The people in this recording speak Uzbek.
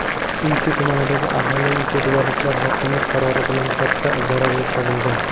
Uychi tumanidagi arxeologik yodgorlikka hokimlik qarori bilan katta zarar yetkazilgan.